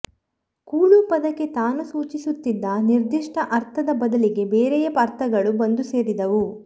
ಕೂಳು ಪದಕ್ಕೆ ತಾನು ಸೂಚಿಸುತ್ತಿದ್ದ ನಿರ್ದಿಷ್ಟ ಅರ್ಥದ ಬದಲಿಗೆ ಬೇರೆಯ ಅರ್ಥಗಳು ಬಂದು ಸೇರಿದವು